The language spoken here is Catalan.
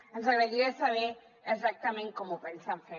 ens agradaria saber exactament com ho pensen fer